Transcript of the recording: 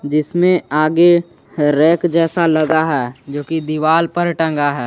जिसमे आगे रैक जैसा लगा है जो कि दीवाल पर टंगा है।